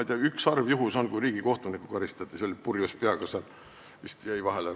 Oli üks harv juhtum, kui karistati riigikohtunikku, kes vist purjus peaga jäi roolis vahele.